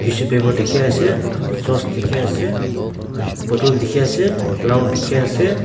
tissue paper dikhi ase sauce dikhi ase bottle dikhi ase flower dikhi ase.